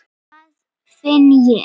Nei, hvað finn ég!